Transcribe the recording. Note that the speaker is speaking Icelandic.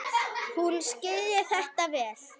Hún skilji þetta vel.